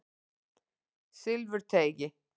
Silfurteigi